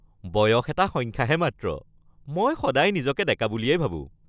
বয়স এটা সংখ্যাহে মাত্ৰ। মই সদায় নিজকে ডেকা বুলিয়েই ভাবোঁ।